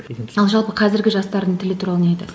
ал жалпы қазіргі жастардың тілі туралы не айтасың